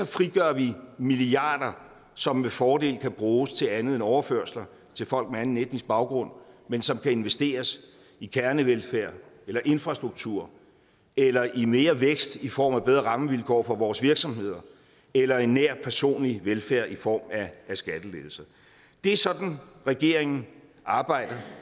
frigør vi milliarder som med fordel kan bruges til andet end overførsler til folk med anden etnisk baggrund men som kan investeres i kernevelfærd eller infrastruktur eller i mere vækst i form af bedre rammevilkår for vores virksomheder eller en nær personlig velfærd i form af skattelettelser det er sådan regeringen arbejder